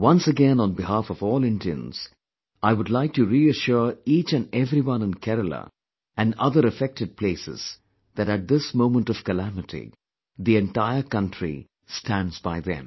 Once again on behalf of all Indians, I would like to re assure each & everyone in Kerala and other affected places that at this moment of calamity, the entire country stands by them